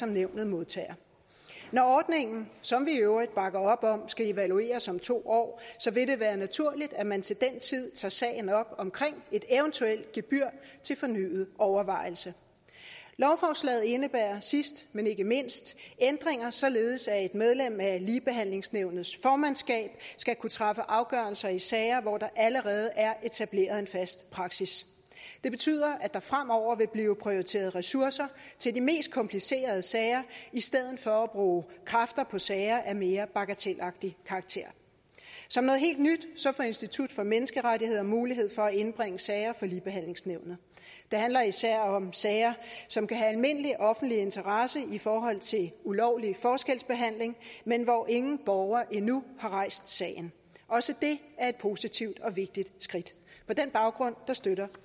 nævnet modtager når ordningen som vi i øvrigt bakker op om skal evalueres om to år vil det være naturligt at man til den tid tager sagen op om et eventuelt gebyr til fornyet overvejelse lovforslaget indebærer sidst men ikke mindst ændringer således at et medlem af ligebehandlingsnævnets formandskab skal kunne træffe afgørelse i sager hvor der allerede er etableret en fast praksis det betyder at der fremover vil blive prioriteret ressourcer til de mest komplicerede sager i stedet for at bruge kræfter på sager af mere bagatelagtig karakter som noget helt nyt får institut for menneskerettigheder mulighed for at indbringe sager for ligebehandlingsnævnet det handler især om sager som kan have almindelig offentlig interesse i forhold til ulovlig forskelsbehandling men hvor ingen borger endnu har rejst sagen også det er et positivt og vigtigt skridt på den baggrund støtter